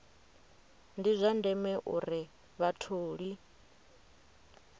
ndi zwa ndeme uri vhatholi